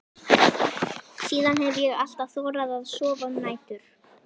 Síðan hef ég alltaf þorað að sofa um nætur.